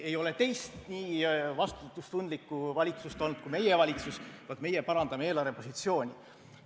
Ei ole teist nii vastutustundlikku valitsust olnud kui meie valitsus, meie parandame eelarve positsiooni.